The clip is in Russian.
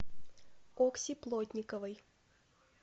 окси плотниковой